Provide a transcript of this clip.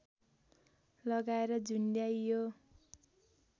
लगाएर झुन्ड्याइयो